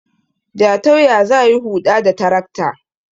Jatau ya za yi Huɗa da tarakta